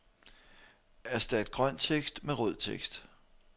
Erstat grøn tekst med rød tekst.